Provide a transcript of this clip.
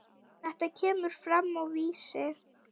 Þetta kemur fram á Vísi.